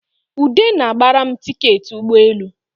Ude na-gbara m tiketị ụgbọelu